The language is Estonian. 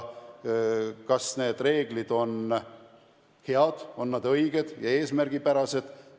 Kas need reeglid on head, õiged ja eesmärgipärased?